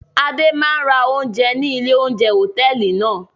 Adé máa ń ra oúnjẹ ní ilé-oúnjẹ hòtẹ́ẹ́lì náà.